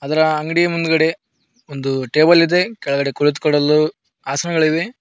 ಅದರ ಅಂಗಡಿ ಮುಂದ್ಗಡೆ ಒಂದು ಟೇಬಲ್ ಇದೆ ಕೆಳಗೆ ಕುಳಿತುಕೊಳ್ಳಲು ಆಸನಗಳಿದೆ.